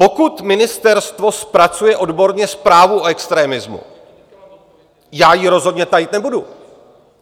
Pokud ministerstvo zpracuje odborně zprávu o extremismu, já ji rozhodně tajit nebudu.